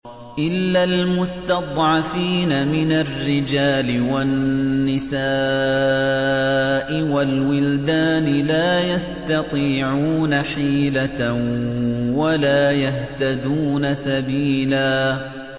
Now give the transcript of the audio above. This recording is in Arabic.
إِلَّا الْمُسْتَضْعَفِينَ مِنَ الرِّجَالِ وَالنِّسَاءِ وَالْوِلْدَانِ لَا يَسْتَطِيعُونَ حِيلَةً وَلَا يَهْتَدُونَ سَبِيلًا